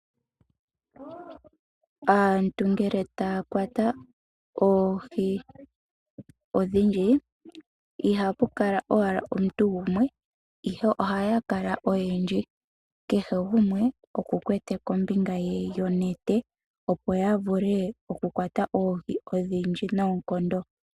Aantu ngele taya kwata oohi odhindji, ihapu kala owala omuntu gumwe , ihe ohaya kala oyendji. Kehe gumwe okwa kwata kombinga ye yonete opo yavule okukwata oohi odhindji noonkondo.